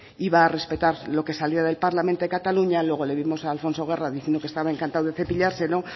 iba a respetar lo que saliera del parlamento de cataluña luego le vimos a alfonso guerra diciendo que estaba encantado de cepillárselo